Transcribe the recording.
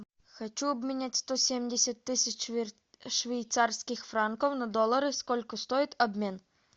хочу обменять сто семьдесят тысяч швейцарских франков на доллары сколько стоит обмен